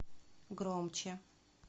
громче